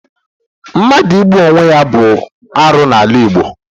Mmadụ igbu onwe ya bụ arụ n'ala Igbo.